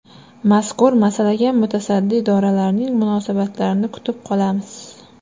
Mazkur masalaga mutasaddi idoralarning munosabatlarini kutib qolamiz.